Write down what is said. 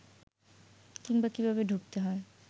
কিংবা কীভাবে ঢুকতে হয়